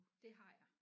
Det har jeg